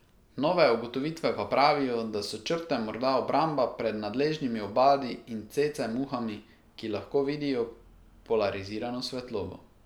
Nove ugotovitve pa pravijo, da so črte morda obramba pred nadležnimi obadi in cece muhami, ki lahko vidijo polarizirano svetlobo.